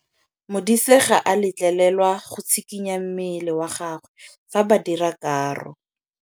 Modise ga a letlelelwa go tshikinya mmele wa gagwe fa ba dira karô.